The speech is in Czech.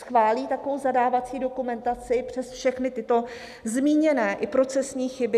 Schválí takovou zadávací dokumentaci přes všechny tyto zmíněné, i procesní, chyby?